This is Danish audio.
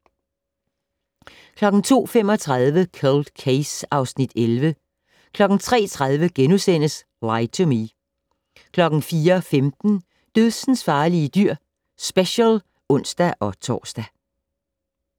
02:35: Cold Case (Afs. 11) 03:30: Lie to Me (Afs. 38)* 04:15: Dødsensfarlige dyr - special (ons-tor)